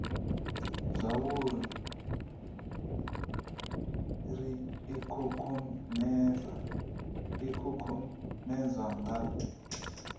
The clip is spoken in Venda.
zwauri ri ikukumuse ikukumusa nga